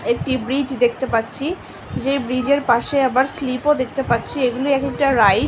একটি ব্রিজ দেখতে পাচ্ছি যে ব্রীজ -এর পাশে আবার স্লিপ ও দেখতে পাচ্ছি এগুলো রাইট --